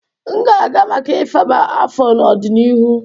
M ga-aga maka ifaba afọ n'ọdịnihu.